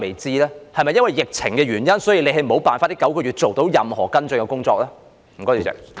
是否因為疫情的關係，所以你沒有辦法在這9個月做到任何跟進的工作呢？